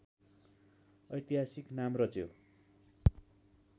ऐतिहासिक नाम रच्यो